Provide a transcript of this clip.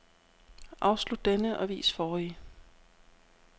Afslut denne og vis forrige.